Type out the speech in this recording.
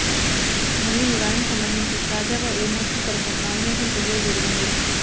మళ్లీ ఈ వారం సంబంధించి తాజాగా ఎలిమినేషన్ కొరకు నామినేషన్ ప్రక్రియ జరిగింది